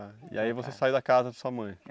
E aí você saiu da casa de sua mãe?